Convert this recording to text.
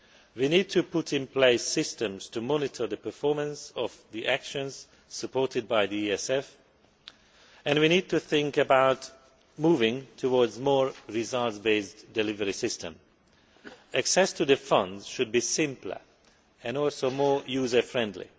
We need to put in place systems to monitor the performance of the actions supported by the ESF and we need to think about moving to more results based delivery systems. Access to the funds should be simpler and also more user friendly.